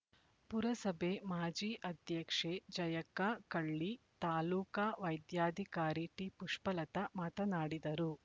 ಪುರಸಭೆ ಮಾಜಿ ಅಧ್ಯಕ್ಷೆ ಜಯಕ್ಕ ಕಳ್ಳಿ ತಾಲೂಕಾ ವೈದ್ಯಾಧಿಕಾರಿ ಟಿಪುಷ್ಪಲತಾ ಮಾತನಾಡಿದರು